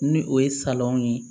Ni o ye salɔn ye